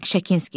Şakinski.